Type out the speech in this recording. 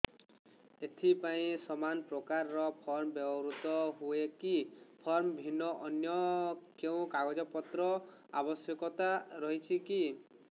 ଏଥିପାଇଁ ସମାନପ୍ରକାର ଫର୍ମ ବ୍ୟବହୃତ ହୂଏକି ଫର୍ମ ଭିନ୍ନ ଅନ୍ୟ କେଉଁ କାଗଜପତ୍ରର ଆବଶ୍ୟକତା ରହିଛିକି